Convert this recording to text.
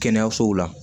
Kɛnɛyasow la